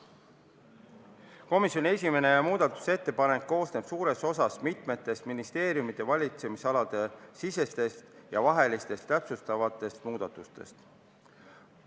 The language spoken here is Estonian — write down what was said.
Komisjoni esimene muudatusettepanek koosneb suures osas mitmetest ministeeriumide valitsemisalade sisestest ja vahelistest täpsustavatest muudatustest.